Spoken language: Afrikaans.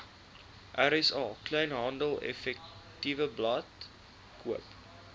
rsa kleinhandeleffektewebblad koop